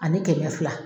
Ani kɛmɛ fila